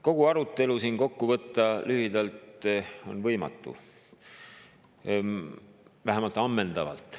Kogu seda arutelu lühidalt kokku võtta on võimatu, vähemalt ammendavalt.